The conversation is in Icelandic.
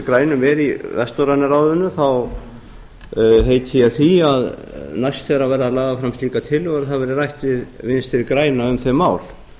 grænum er í vestnorræna ráðinu þá heiti ég því að næst þegar verða lagðar fram slíkar tillögur verði rætt við vinstri græna um þau mál